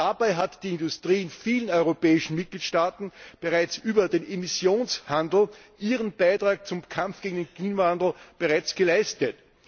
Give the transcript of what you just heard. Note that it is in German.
Dabei hat die Industrie in vielen europäischen Mitgliedstaten über den Emissionshandel ihren Beitrag zum Kampf gegen den Klimawandel bereits geleistet.